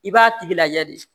I b'a tigi lay de